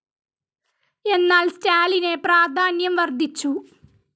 എന്നാൽ സ്റ്റാലിനെ പ്രാധാന്യം വർദ്ധിച്ചു.